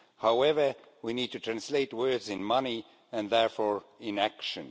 However, we need to translate words into money and therefore into action.